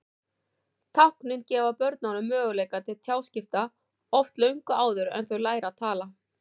Táknin gefa börnunum möguleika til tjáskipta, oft löngu áður en þau læra að tala.